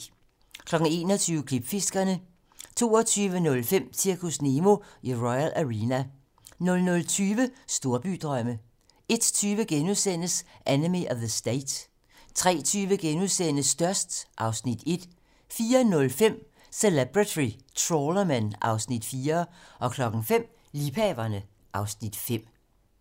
21:00: Klipfiskerne 22:05: Zirkus Nemo i Royal Arena 00:20: Storbydrømme 01:20: Enemy of the State * 03:20: Størst (Afs. 1)* 04:05: Celebrity Trawlermen (Afs. 4) 05:00: Liebhaverne (Afs. 5)